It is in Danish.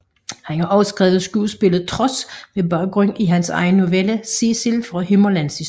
Han har også skrevet skuespillet Trods med baggrund i hans egen novelle Cecil fra Himmerlandshistorier